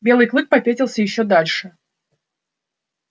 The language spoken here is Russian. белый клык попятился ещё дальше